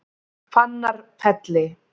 Fannarfelli